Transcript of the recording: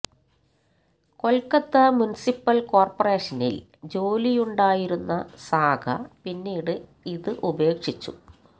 Kolkata municipal കോർപ്പറേഷനിൽ ജോലിയുണ്ടായിരുന്ന സാഹ പിന്നീട് ഇത് ഉപേക്ഷിച്ചു